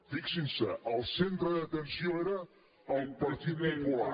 fixin se el centre d’atenció era el partit popular